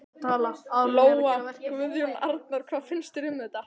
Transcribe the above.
Lóa: Guðjón Arnar, hvað finnst þér um þetta?